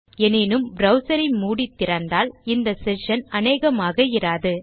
எனினும் ப்ரவ்சர் ஐ மூடி திறந்தால் இந்த செஷன் அனேகமாக இராது